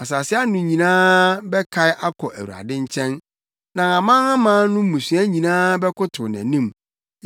Asase ano nyinaa bɛkae akɔ Awurade nkyɛn, na amanaman no mmusua nyinaa bɛkotow nʼanim,